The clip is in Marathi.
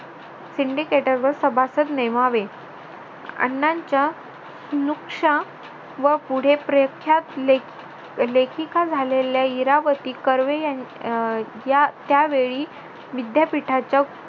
सभासद नेमावे अण्णांच्या नुक्शा व पुढे प्रयत्नात लेखिका झालेल्या इरावती कर्वे अं या त्यावेळी विद्यापीठाच्या